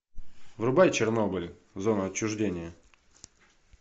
врубай чернобыль зона отчуждения